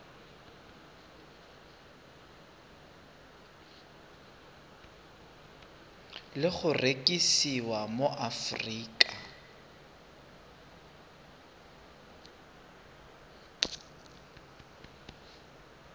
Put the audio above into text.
le go rekisiwa mo aforika